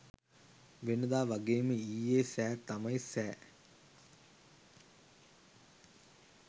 වෙනදා වගේම ඊයේ සෑ තමයි සෑ.